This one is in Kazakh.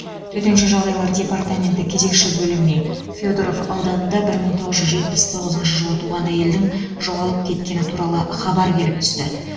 төтенше жағдайлар департаменті кезекші бөліміне федоров ауданында бір мың тоғыз жүз жетпіс тоғызыншы жылы туған әйелдің жоғалып кеткені туралы хабар келіп түсті